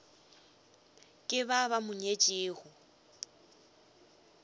ke ba ba mo nyetšego